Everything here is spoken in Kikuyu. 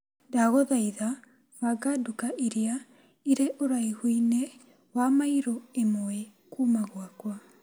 Ndagũthaitha banga nduka iria irĩ ũraihu-inĩ wa mairo ĩmwe kuma gwakwa.